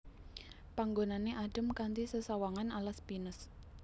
Panggonané adhem kanthi sesawangan alas pinus